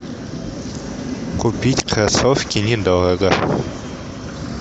купить кроссовки недорого